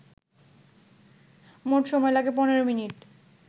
মোট সময় লাগে ১৫মিনিট